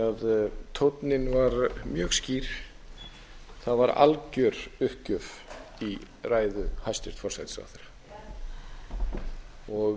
því tónninn var mjög skýr það var alger uppgjöf í ræðu hæstvirts forsætisráðherra og